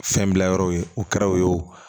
Fɛn bila yɔrɔw ye o kɛra o ye o